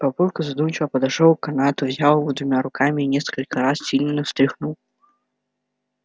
папулька задумчиво подошёл к канату взял его двумя руками и несколько раз сильно встряхнул